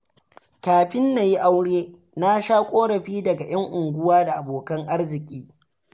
Kafin na yi aure, na sha ƙorafi daga 'yan uwa da abokan arziki.